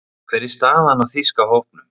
Hver er staðan á þýska hópnum?